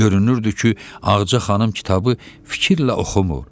Görünürdü ki, Ağaca xanım kitabı fikirlə oxumur.